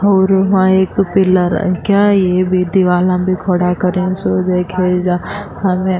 اور وہا ایک پیلا رنگ کا اور دیوالہ بھی کھڈا کرو سو دیکھےگا ہمیں --